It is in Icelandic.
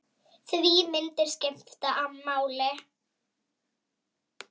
Því myndir skipta máli.